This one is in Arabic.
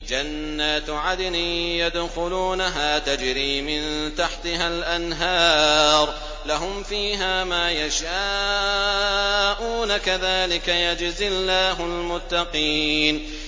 جَنَّاتُ عَدْنٍ يَدْخُلُونَهَا تَجْرِي مِن تَحْتِهَا الْأَنْهَارُ ۖ لَهُمْ فِيهَا مَا يَشَاءُونَ ۚ كَذَٰلِكَ يَجْزِي اللَّهُ الْمُتَّقِينَ